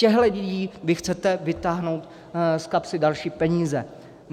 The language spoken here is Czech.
Těmto lidem vy chcete vytáhnout z kapsy další peníze.